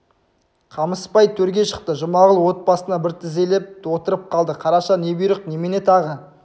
қамысбай төрге шықты жұмағұл от басына бір тізелеп отырып қалды қараша не бұйрық немене тағы